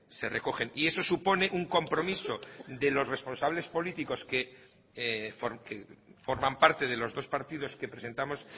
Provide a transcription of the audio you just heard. se recogen y eso supone un compromiso de los responsables políticos que forman parte de los dos partidos que presentamos